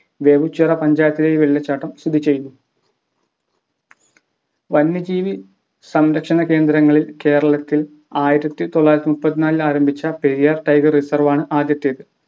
വെവുച്ചിറ പഞ്ചായത്തിലെ ഈ വെള്ളച്ചാട്ടം സ്ഥിതി ചെയ്യുന്നു വന്യജീവി സംരക്ഷണ കേന്ദ്രങ്ങളിൽ കേരളത്തിൽ ആയിരത്തിതൊള്ളായിരത്തിമുപ്പത്തിനാലിൽ ആരംഭിച്ച Periyar Tiger Reserve ആണ് ആദ്യത്തേത്